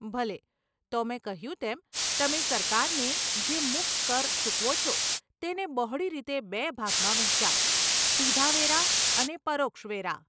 ભલે, તો મેં કહ્યું તેમ, તમે સરકારને જે મુખ કર ચૂકવો છો તેને બહોળી રીતે બે ભાગમાં વહેંચાય, સીધા વેરા અને પરોક્ષ વેરા.